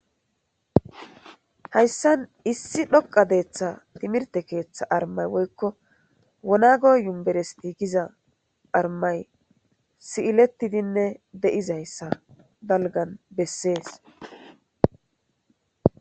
hayssan issi dhoqa deeththa timirte keeththa armay woykko wonago yumberesti giza armay si7ilettidinne de7izayssa dalgan bessees